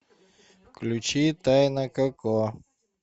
включи тайна коко